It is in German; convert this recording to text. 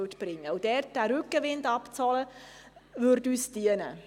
Es würde uns dienen, diesen Rückenwind abzuholen.